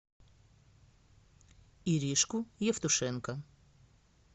иришку евтушенко